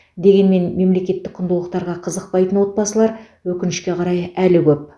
дегенмен мемлекеттік құндылықтарға қызықпайтын отбасылар өкінішке қарай әлі көп